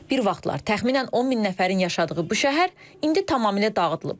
Bir vaxtlar təxminən 10 min nəfərin yaşadığı bu şəhər indi tamamilə dağıdılıb.